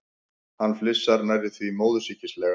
Hann flissar, nærri því móðursýkislega.